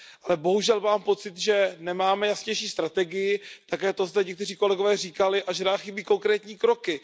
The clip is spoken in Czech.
Ale bohužel mám pocit, že nemáme jasnější strategii, také to zde někteří kolegové říkali, a že nám chybí konkrétní kroky.